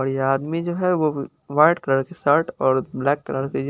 और ये आदमी जो है वो वाइट कलर की शर्ट और ब्लैक कलर की जी--